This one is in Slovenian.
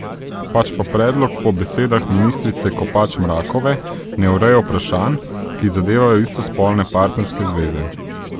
Pač pa predlog po besedah ministrice Kopač Mrakove ne ureja vprašanj, ki zadevajo istospolne partnerske zveze.